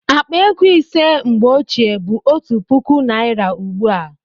Akpa ego ise mgbe ochie bụ otu puku naira ugbu a